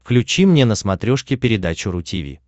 включи мне на смотрешке передачу ру ти ви